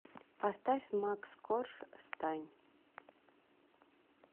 поставь макс корж стань